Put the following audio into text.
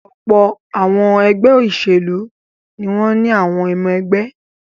Ọ̀pọ̀ àwọn ẹgbẹ́ ìṣèlú ni wọ́n ní àwọn ọmọ-ẹgbẹ́.